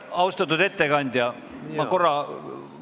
Austatud ettekandja, vabandust!